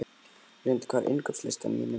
Lundi, hvað er á innkaupalistanum mínum?